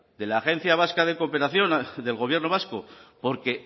de la agencia vasca de cooperación del gobierno vasco porque